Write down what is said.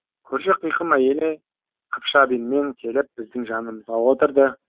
көрші қиқым әйелі қыпша белмен келіп біздің жанымызға отырды